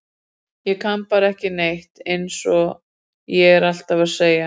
Ég kann bara ekki neitt eins og ég er alltaf að segja.